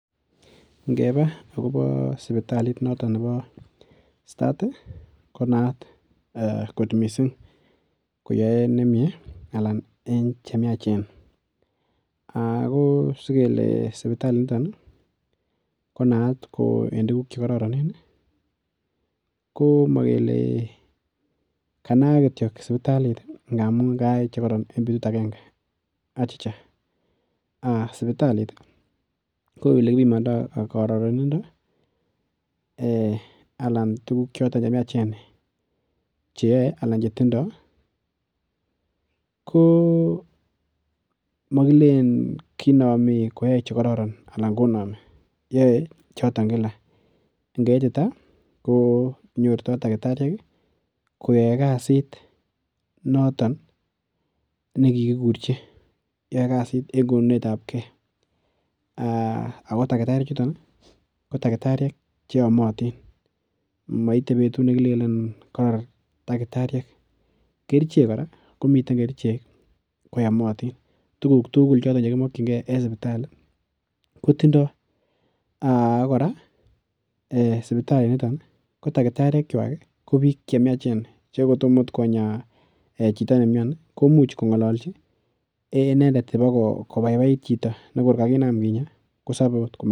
Ngeba akobo sipitalit noton nebo Start ih ko naat kot missing koyoe nemie anan chemiachen ako sikele sipitalit niton ko naat en tuguk chekororonen ko mokele kanaak kityo sipitalit ngamun kayai chekoron en betut agenge achicha sipitalit ko elekipimondoo kororonindo anan tuguk choton chemiachen cheyoe anan chetindoo ko mokilenen kinomi koyoe chekororon anan konomi yoe choton kila ngeitita kenyorto takitariek koyoe kasit noton nekikikurchi yoe kasit en konunet ab gee ako takitariek chuton ko takitariek cheyomotin moite betut nekilenen koror takitariek kerichek kora komiten kerichek koyomotin tuguk tugul chekimokyingee en sipitali kotindoo ak kora sipitalit niton ko takitariek kwak ko biik chemiachen che kotomo ot konyaa chito nemioni komuch kong'olonchi inendet akoi kobaibait chito nekor kakinam kinyaa kosebe ot